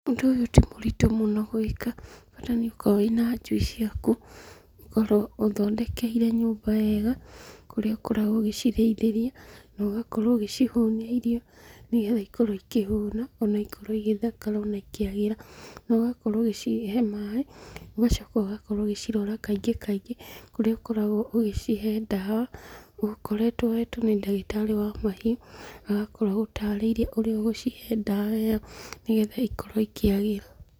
Ũndũ ũyũ ti mũritũ mũno gwĩka, bata nĩ ũkorwo wĩ na njui ciaku, ũkorwo ũcithondekeire nyũmba wega, kũrĩa ũkoragwo ũgĩcirĩithĩria, na ũgakorwo ũgĩcihũnia irio, na ĩgagĩkorwo ikĩhona ona igakorwo igĩthakara na ikĩagĩra, na ũgakorwo ũgĩcihe maaĩ, ũgacoka ũgakorwo ũgĩcirora kaingĩ kaingĩ kũrĩa ũkoragwo ũgĩcihe ndawa ũgakoretwo ũhetwo nĩ ndagĩtarĩ wa mahiũ agakorwo agũtarĩirie ũrĩa ũgũcihe ndawa ĩyo, nĩgetha ikorwo ikĩagĩra.